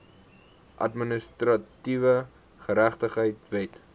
administratiewe geregtigheid wet